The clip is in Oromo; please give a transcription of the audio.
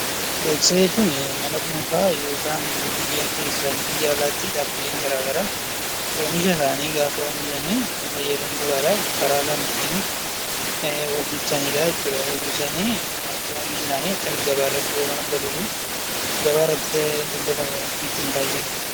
Beeksisa jechuun nama dhuunfaa yookaan biyya keessaa fi biyya alaa tti dhaabbileen garaa garaa oomisha isaanii gaafa oomishani fayyadamtootaa dhaaf karaa isaan ittiin of ibsani dha jechuu dha. Of ibsanii oomishi isaanii akka inni gabaa irratti fudhatama argatuu fi gabaa irratti daldalamuuf ittiin taasisani dha.